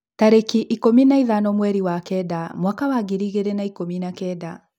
tarĩki ikũmi na ithano mweri wa Kenda mwaka wa ngiri igĩrĩ na ikũmi na Kenda.